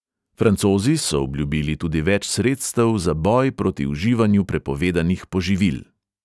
Francozi so obljubili tudi več sredstev za boj proti uživanju prepovedanih poživil.